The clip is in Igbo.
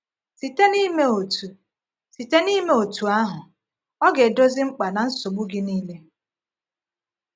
Site n’ime otú Site n’ime otú ahụ, Ọ ga-edozi mkpa na nsogbu gị niile.